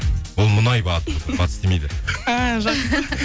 ол мұнай батыс демейді а жақсы